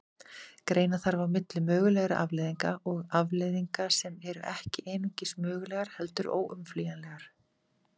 Greina þarf á milli mögulegra afleiðinga og afleiðinga sem eru ekki einungis mögulegar heldur óumflýjanlegar.